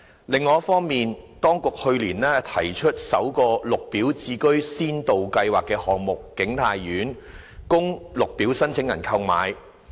另一方面，當局去年推出首個綠表置居先導計劃項目景泰苑，供綠表申請人購買。